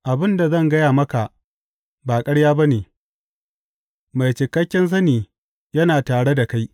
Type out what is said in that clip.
Abin da zan gaya maka ba ƙarya ba ne; mai cikakken sani yana tare da kai.